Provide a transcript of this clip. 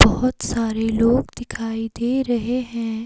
बहुत सारे लोग दिखाई दे रहे हैं।